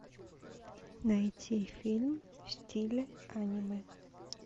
найти фильм в стиле аниме